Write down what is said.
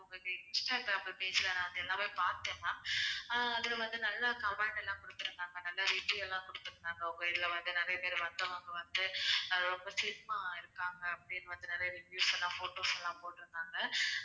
உங்க instagram page ல நான் வந்து எல்லாமே பார்த்தேன் ma'am ஆஹ் அதுல வந்து நல்ல comment லாம் கொடுத்து இருந்தாங்க நல்ல review லாம் கொடுத்து இருந்தாங்க உங்க இதுல வந்து நிறைய பேரு வந்தவங்க வந்து ரொம்ப slim ஆ இருக்காங்க அப்படின்னு வந்து நிறைய reviews லாம் photos லாம் போட்டு இருந்தாங்க